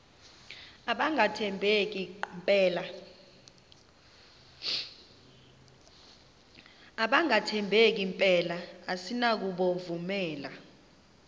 abangathembeki mpela asinakubovumela